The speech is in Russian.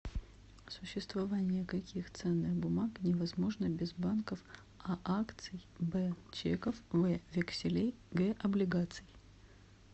существование каких ценных бумаг невозможно без банков а акций б чеков в векселей г облигаций